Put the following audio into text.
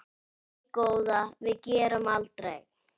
Nei góða, við gerum aldrei.